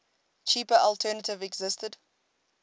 cheaper alternative existed